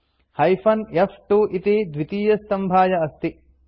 hyphen फ्2 इति द्वितीयस्तम्भाय अस्ति